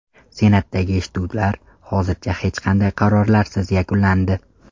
Senatdagi eshituvlar hozircha hech qanday qarorlarsiz yakunlandi.